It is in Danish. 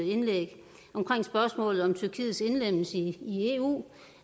indlæg om tyrkiets indlemmelse i eu